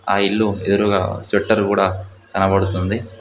ఆ ఇల్లు ఎదురుగా షెటరు కూడా కనబడుతుంది.